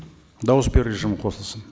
дауыс беру режимі қосылсын